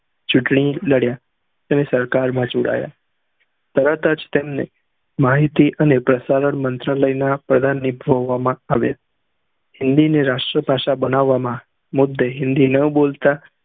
ચુટણી લડ્યા અને સરકાર માં જોડાયા તરતજ તેમને માહિતી અને પ્રસારણ મંત્રાલય ના પ્રધાન ની આવ્યા હિન્દી ને રાષ્ટ્રી ભાષા બનવા માં મુદ્દે હિન્દી ના બોલતા